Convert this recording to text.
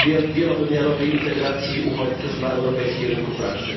wielowymiarowej integracji uchodźców na europejskim rynku pracy.